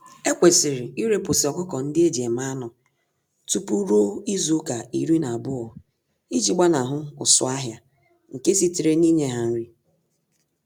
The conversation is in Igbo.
Ekwesịrị irepụsị ọkụkọ-ndị-eji-eme-anụ tupu ruo izuka iri na-abụọ iji gbanahụ ụsụ-ahịa nke sitere ninye ha nri.